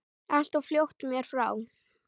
Allt of fljótt mér frá.